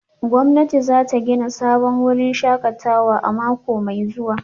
Gwamnati za ta gina sabon wurin shakatawa a mako mai zuwa